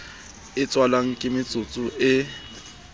e tswalwang ke metsetso e